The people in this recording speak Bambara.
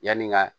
Yanni n ga